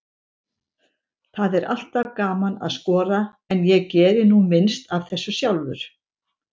Það er alltaf gaman að skora, en ég geri nú minnst af þessu sjálfur.